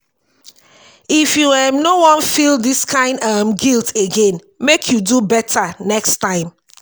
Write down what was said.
if you um no wan feel dis kain um guilt again make you do beta next time.